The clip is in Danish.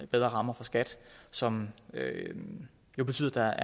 bedre rammer for skat som jo betyder at der